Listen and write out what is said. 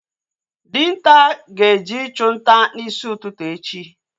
Dinta ga-eje ịchụ nta n'isi ụtụtụ echi